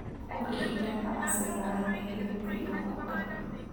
U kori digaagga casriga ah ee hilibka iyo ukunta.